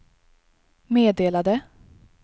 meddelade